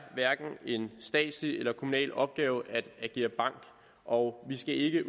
hverken en statslig eller en kommunal opgave at agere bank og vi skal ikke